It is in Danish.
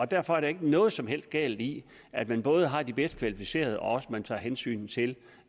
derfor er der ikke noget som helst galt i at man både har de bedst kvalificerede og også tager hensyn til